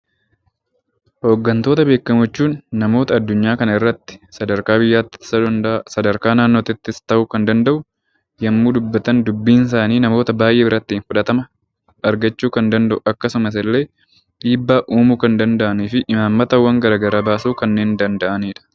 Hooggantoota beekamoo jechuun namoota addunyaa kanaarratti sadarkaa biyyaatti ta'uu danda'a sadarkaa naannootti yommuu dubbatan dubbiin isaanii namoota baay'ee biratti fudhatama argachuu kan danda'u akkasumas illee dhiibbaa uumuu kan danda'anii fi imaammataawwan garaagaraa baasuu kanneen danda'anidha